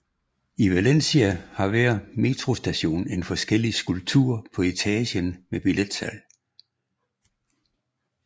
I Valencia har hver metrostation en forskellig skulptur på etagen med billetsalg